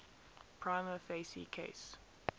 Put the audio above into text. prima facie case